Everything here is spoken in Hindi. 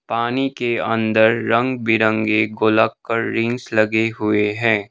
पानी के अंदर रंग बिरंगे गोलाकार रिंग्स लगे हुए हैं।